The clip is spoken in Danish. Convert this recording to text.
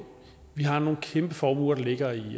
vi har nogle kæmpe formuer der ligger i